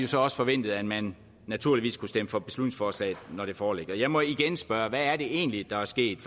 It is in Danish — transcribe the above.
så også forventet at man naturligvis kunne stemme for beslutningsforslaget når det foreligger jeg må igen spørge hvad er det egentlig der er sket